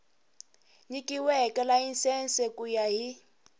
nyikiweke layisense ku ya hi